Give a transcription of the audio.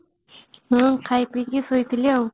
ହଁ ଖାଇ ପିଇକି ଶୋଇଥିଲି